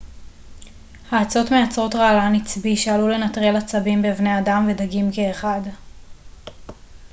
האצות מייצרות רעלן עצבי שעלול לנטרל עצבים בבני אדם ודגים כאחד